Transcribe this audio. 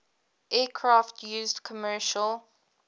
aircraft used commercial